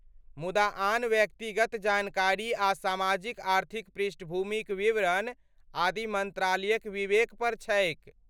मुदा आन व्यक्तिगत जानकारी आ सामाजिक आर्थिक पृष्ठभूमिक विवरण आदि मन्त्रालयक विवेक पर छैक।